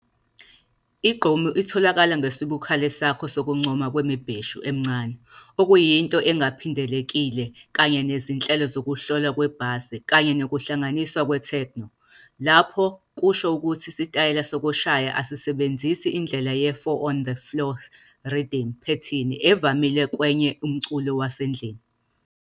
I-Gqom itholakala ngokwesibukhali sakho sokuncoma kwemibheshu emncane, okuyinto ingaphindelekile kanye nezinhlelo zokuhlolwa kwe-bass kanye nokuhlanganiswa kwe-techno. Lapho kusho ukuthi isitayela sokushaya asisebenzisi indlela ye-four-on-the-floor rhythm pattern evamile kwenye umculo wesendlini.